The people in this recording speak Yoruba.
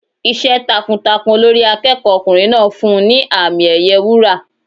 Iṣẹ́ takuntakun Olórí akẹ́kọ̀ọ́ ọkùnrin náà fún un ní àmì ẹ̀yẹ wúrà.